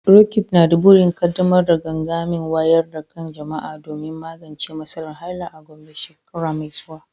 Roqeeb na da burin kaddamar da gangamin wayar da kan jama’a domin magance matsalar haila a Gombe shekara mai zuwa.